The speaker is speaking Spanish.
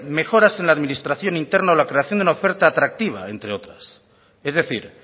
mejoras en la administración interna o la creación de una oferta atractiva entre otras es decir